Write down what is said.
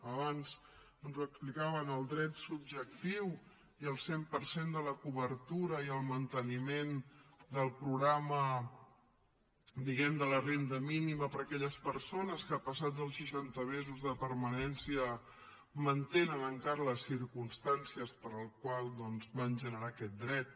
abans ens ho explicaven el dret subjectiu i el cent per cent de la cobertura i el manteniment del programa diguem ne de la renda mínima per a aquelles persones que passats els seixanta mesos de permanència mantenen encara les circumstàncies per les quals doncs van generar aquest dret